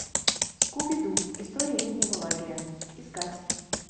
скуби ду история летнего лагеря искать